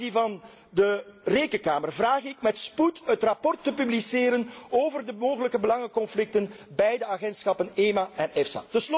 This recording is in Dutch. Ten aanzien van de Rekenkamer vraag ik met spoed het rapport te publiceren over de mogelijke belangenconflicten bij de agentschappen EMA en